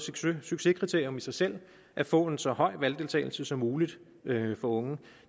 succeskriterie i sig selv at få en så høj valgdeltagelse som muligt for unge